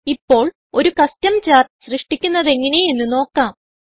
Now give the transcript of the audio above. ഇപ്പോൾ ഒരു custom chart സൃഷ്ടിക്കുന്നതെങ്ങനെ എന്ന് നോക്കാം